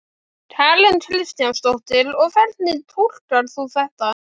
Karen Kjartansdóttir: Og hvernig túlkar þú þetta?